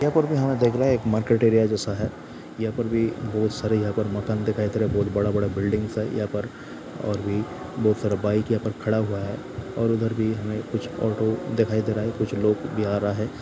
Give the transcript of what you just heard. यह फोटो मे देख रहे मार्किट एरिया जैसा है यहाँ पर बी बहुत सारे यहाँ पर बी मकान दिखायी दे रहा है बहुत बड़ा बड़ा बिल्डिंगस है यहाँ पर और बी बहुत सारा बाइक यहाँ पर कड़ा हुआ है और उदर बी ऑटो दिखायी दे रहा है कुछ लोग बी आरहा है।